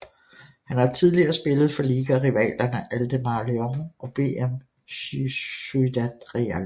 Han har tidligere spillet for ligarivalerne Ademar León og BM Ciudad Real